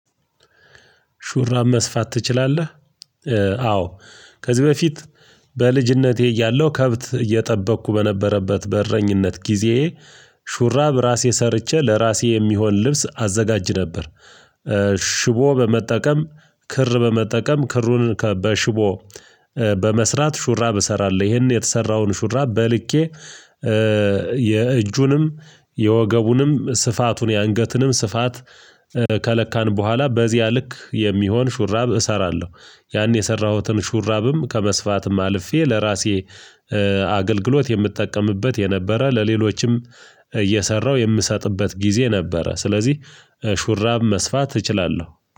ሹራብ መስፋት ትችላለህ? አዎ ከዚህ በፊት በልጂነቴ እያለሁ ከብት እየጠበቅኩ በነበረበት በእረኝነት ጊዜየ ሹራብ ራሴ ሰርቼ ለራሴ የሚሆን ልብስ አዘጋጅ ነበር። ሽቦ በመጠቀም ክር በመጠቀም ክሩን ከበሽቦ በመስራት ሹራብ እሰራለሁ። ይሄን የተሰራውን ሹራብ በልኬ የእጁንም የወገቡንም ስፋቱን የአንገትንም ስፋት ከለካን በኋላ በዚያ ልክ የሚሆን ሹራብ እሰራለሁ። ያን የሰራሁትን ሹራብም ከመስፋትም አልፌ ለራሴ አገልግሎት የምትጠቀምበት የነበረ ለሌሎችም እየሰራው የምሰጥበት ጊዜ ነበረ። ስለዚህ ሹራብ መስፋት እችላለሁ